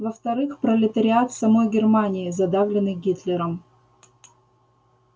во-вторых пролетариат самой германии задавленный гитлером